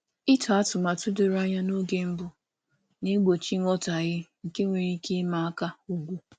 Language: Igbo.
Ịtọ atụmanya doro anya n’oge mbụ na-egbochi nghọtahie nke nwere ike ịma aka ugwu.